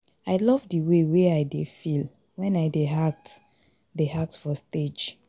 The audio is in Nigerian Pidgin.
I love the way I dey feel wen I dey act dey act for stage